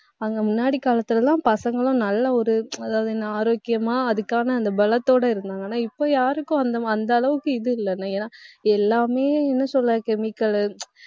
அங்கே, முன்னாடி காலத்திலே எல்லாம் பசங்களும் நல்ல ஒரு அதாவது, என்ன ஆரோக்கியமா அதுக்கான அந்த பலத்தோட இருந்தாங்க ஆனா, இப்ப யாருக்கும் அந்த, அந்த அளவுக்கு இது இல்லை. ஏன்னா எல்லாமே என்ன சொல்றது chemical லு